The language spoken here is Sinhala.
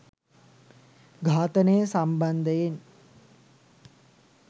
ඝාතනය සම්බන්ධයෙන්